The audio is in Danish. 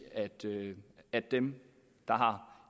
at dem der har